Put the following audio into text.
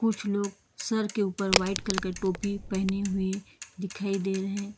कुछ लोग सर के ऊपर वाइट कलर का टोपी पहने हुए दिखाई दे रहे हैं।